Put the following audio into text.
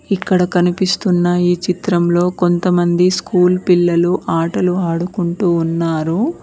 ఇక్కడ కనిపిస్తున్న ఈ చిత్రంలో కొంతమంది స్కూల్ పిల్లలు ఆటలు ఆడుకుంటూ ఉన్నారు.